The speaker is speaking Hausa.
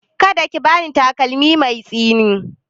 Ka da ki ba ni takalmi mai tsini!